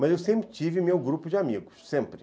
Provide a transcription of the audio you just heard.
Mas eu sempre tive meu grupo de amigos, sempre.